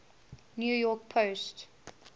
new york post